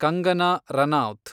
Kangana Ranaut